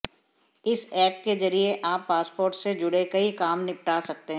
इस ऐप के जरिये आप पासपोर्ट से जुड़े कई काम निपटा सकते हैं